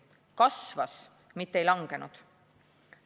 Kasvas, mitte ei kahanenud!